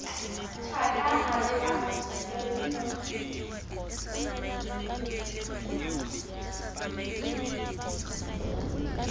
thaka a be a se